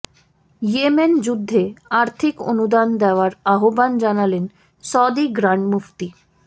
Yemen যুদ্ধে আর্থিক অনুদান দেয়ার আহ্বান জানালেন সৌদি গ্রান্ড মুফতি